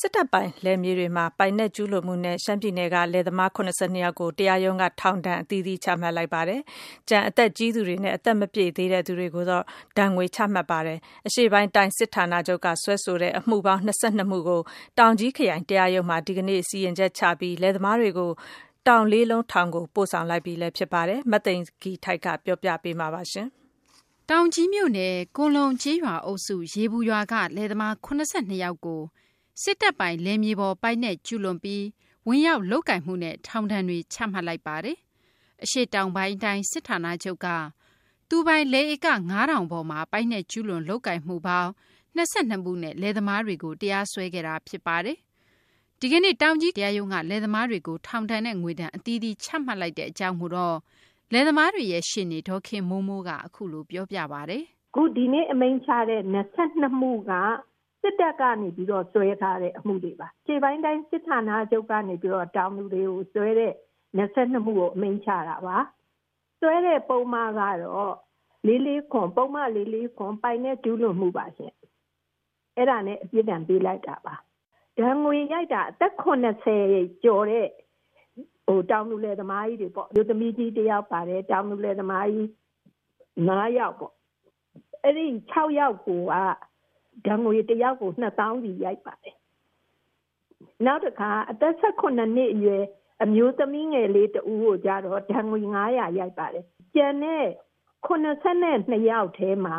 စစ်တပ်ပိုင် လယ်မြေတွေမှာ ပိုင်နက် ကျူးလွန်မှုနဲ့ ရှမ်းပြည်နယ်က လယ်သမား ၇၂ ယောက်ကို တရားရုံးက ထောင်ဒဏ် အသီးသီးချမှတ်လိုက်ပါတယ်။ ကျန် အသက်ကြီးသူတွေနဲ့ အသက်မပြည့်သေးသူတွေကိုတော့ ငွေဒဏ် ချမှတ်ပါတယ်။ အရှေ့ပိုင်းတိုင်း စစ်ဌာနချုပ်က စွဲဆိုတဲ့ အမှုပေါင်း ၂၂ မှုကို တောင်ကြီး ခရိုင် တရားရုံးမှာ ဒီကနေ့ စီရင်ချက်ချပြီး လယ်သမားတွေကို တောင်လေးလုံးထောင်ကို ပို့ဆောင်လိုက်ပြီ ဖြစ်ပါတယ်။ မသိင်္ဂ ီထိုက် တင်ပြပေးမှာပါ။ တောင်ကြီးမြို့နယ် ကွန်လုံ ကျေးရွာ အုပ်စု ရေပူရွာက လယ်သမား ၇၂ ယောက်ကို စစ်တပ်ပိုင် လယ်မြေပေါ် ပိုင်နက် ကျူးလွန်ပြီး ဝင်ရောက် လုပ်ကိုင်မှုနဲ့ ထောင်ဒဏ်တွေ ချမှတ်လိုက်တာ ဖြစ်ပါတယ်။ အရှေ့တောင်ပိုင်းတိုင်း စစ်ဌာနချုပ်က သူပိုင် လယ်ဧက ၅၀၀၀ ပေါ်မှာ ပိုင်နက် ကျူးလွန် လုပ်ကိုင်မှုပေါင်း ၂၂ မှုနဲ့ လယ်သမားတွေကို တရားစွဲခဲ့တာ ဖြစ်ပါတယ်။ ဒီကနေ့ တောင်ကြီး ခရိုင် တရားရုံးက လယ်သမားတွေကို ထောင်ဒဏ်နဲ့ ငွေဒဏ် အသီးသီး ချမှတ်လိုက်တဲ့ အခြေအနေကို လယ်သမားတွေရဲ့ ရှေ့နေ ဒေါ်ခင်မိုးမိုးက အခုလို ပြောပါတယ်။ “အခုဒီနေ့အမိန့်ချတဲ့ ၂၂ မှုက စစ်တပ်ကနေပြီးတော့ စွဲထားတဲ့ အမှုတွေပါ။ အရှေ့တောင်ပိုင်းတိုင်း စစ်ဌာနချုပ်ကနေပြီးတော့ တောင်သူတွေကို စွဲတဲ့ ၂၂ မှုကို အမိန့်ချတာပါ။ စွဲတဲ့ ပုဒ်မကတော့ ၄၄၇ ပိုင်နက်ကျူးလွန်မှု ပါရှင့် အဲဒါနဲ့ ပြစ်ဒဏ်ပေးလိုက်တာပါ။ ဒဏ်ငွေရိုက်တာကတော့ အသက် ၇၀ ကျော်တဲ့ တောင်သူလယ်သမ အမျိုးသမီးကြီးတယောက်ပါတယ်၊ နောက် တောင်သူလယ်သမားကြီး ၅ ယောက်ပေါ့ အဲဒီ ၆ ယောက်ကို ဒဏ်ငွေ ၁ ယောက်ကို ၂ သောင်းစီရိုက်တယ်။ နောက် အသက် ၁၇ နှစ်အရွယ်အမျိုးသမီးငယ်လေးကိုတော့ ဒဏ်ငွေ ၅၀၀ ရိုက်ပါတယ်။ ကျန်တဲ့ ၇၂ ယောက်ထဲမှာ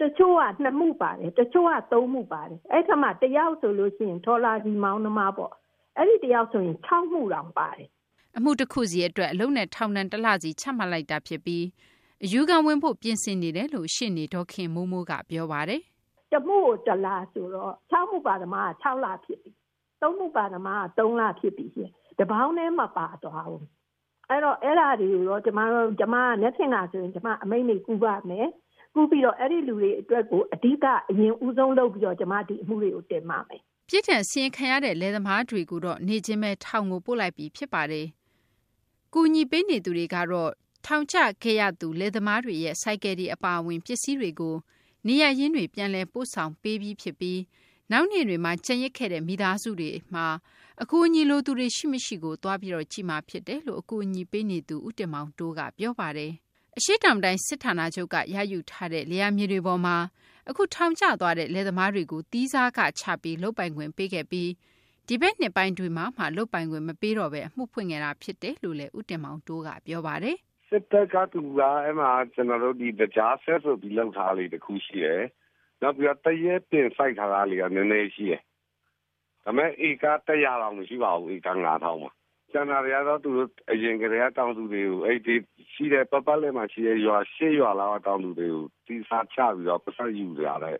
တချို့က ၂ မှုပါတယ်၊ တချို့က ၃ မှုပါတယ်။ အဲဒီအထဲမှာ ၁ ယောက် ဆိုရင် ထော်လာဂျီမောင်းသမားပေါ့ အဲဒီတယောက်ကိုဆိုရင် ၆ မှုတောင်ပါတယ်။” အမှု တခုစီ အတွက် အလုပ်နဲ့ ထောင်ဒဏ် ၁ လစီ ချမှတ်လိုက်တာ ဖြစ်ပြီး အယူခံဝင်ဖို့ ပြင်ဆင်နေတယ်လို့ ရှေ့နေ ဒေါ်ခင်မိုးမိုးက ပြောပါတယ်။ “ ၁မှုကို ၁ လဆိုတော့ ၆ မှုပါတဲ့သမားက ၆ လဖြစ်ပြီ၊ နောက် ၃ မှုပါသမားက ၃ လ ။ တပေါင်းထဲမပါသွားဘူး။ ဆိုတော့ အဲဒါတွေကို ကျမ မနက်ဖြန်ခါဆိုရင် ကျမ အမိန့်တွေကို ပူးပြီးတော့ အဲဒီလူတွေအတွက်ကို အဒီက အရင်ဦးဆုံးလုပ်ပြီးတော့ ဒီအမှုတွေကို တင်ပါမယ်။” ပြစ်ဒဏ် စီရင်ခံရတဲ့ လယ်သမားတွေကိုတော့ နေ့ချင်းဘဲ ထောင်ကို ပို့လိုက်ပြီ ဖြစ်ပါတယ်။ အကူအညီပေးနေသူတွေကတော့ ထောင်ကျခဲ့ရသူ လယ်သမားတွေရဲ့ ဆိုင်ကယ်တွေ အပါအဝင် ပစ္စည်းတွေကို နေရပ်ရင်းတွေ ပြန်လည် ပို့ဆောင်ပေးပြီး ဖြစ်ပြီး နောက်နေ့တွေမှာ ကျန်ရစ်ခဲ့တဲ့ မိသားစုတွေမှာ အကူအညီလိုသူတွေ ရှိမရှိ သွားကြည့်မှာ ဖြစ်တယ်လို့ အကူအညီပေးနေသူ ဦးတင်မောင်တိုးက ပြောပါတယ်။ အရှေ့တောင်တိုင်း စစ်ဌာနချုပ်က ရယူထားတဲ့ လယ်ယာမြေတွေပေါ်မှာ အခု ထောင်ကျသွားတဲ့ လယ်သမားတွေကို သီးစားခချပြီး လုပ်ပိုင်ခွင့် ပေးခဲ့ပြီး ဒီဘက်နှစ်ပိုင်းမှာမှ လုပ်ပိုင်ခွင့် မပေးတော့ဘဲ အမှုဖွင့်ခဲ့တာ ဖြစ်တယ်လို့လည်း ဦးတင်မောင်တိုးက ပြောပါတယ်။ “စစ်တပ်ကလူက အဲဒီမှာ သကြားစက်ဆိုပြီးလုပ်ထားတာ ၁ ခုရှိတယ်၊ နောက်ပြီး သရက်ပင်စိုက်ထားတာလေး နည်းနည်းရှိတယ်။ ဒါပေမယ့် ဧက ၁၀၀ တောင်မရှိပါဘူး။ ကျန်တာတွေကတော့ အရင်ကတည်းက အဲဒီ ပတ်ပတ်လည်မှာရှိတဲ့ ၈ ရွာတွေက တောင်သူတွေကို သီးစားချပြီး ပိုက်ဆုံယူတဲ့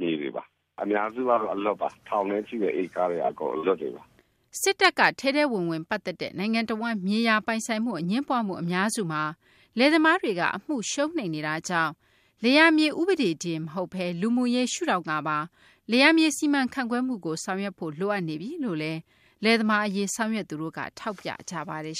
မြေတွေပါ။ အများစုကတော့ ထောင်နဲ့ရှိတဲ့ ဧကတွေက အလွတ်တွေပါ။” စစ်တပ်က ထဲထဲဝင်ဝင် ပတ်သက်တဲ့ နိုင်ငံတဝန်း မြေယာ ပိုင်ဆိုင်မှု အငြင်းပွားမှု အများစုမှာ လယ်သမားတွေက အမှု ရှုံးနိမ့်နေရတာကြောင့် လယ်ယာမြေ ဥပဒေတင် မဟုတ်ဘဲ လူမှုရေး ရှုထောင့်ကပါ လယ်ယာမြေ စီမံခန့်ခွဲမှုကို ဆောင်ရွက်ဖို့ လိုအပ်နေပြီလို့လည်း လယ်သမား အရေး ဆောင်ရွက်သူတို့က ထောက်ပြကြပါတယ်